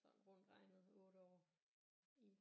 Sådan rundt regnet 8 år i